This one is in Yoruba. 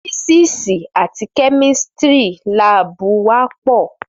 Fìsísì àtí Kẹmítìrí làbú wà pọ.